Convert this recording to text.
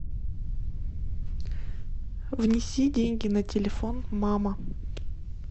внеси деньги на телефон мама